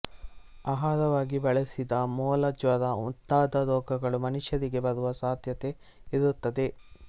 ಆಹಾರವಾಗಿ ಬಳಸಿದಾಗ ಮೊಲ ಜ್ವರ ಮುಂತಾದ ರೋಗಗಳು ಮನುಷ್ಯರಿಗೆ ಬರುವ ಸಾಧ್ಯತೆ ಇರುತ್ತದೆ